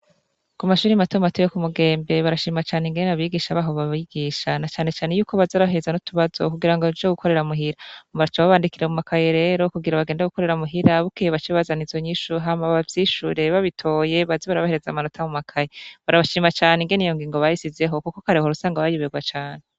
Kumashure mato mato yo Kumugembe barashima cane ingene abigisha baho babigisha na cane cane yuko baza barabahereza n’utubazo kugirango baje gukorera muhira baca babandikira mumakaye rero kugira bagende gukorera muhira , bukeye bace bazana izo nyishu hama bavyishure, babitoye baze barabahereza amanota mumakaye. Barabashima cane ingene iyo ngingo bayishizeho kuko kare wahora usanga bayoberwa cane.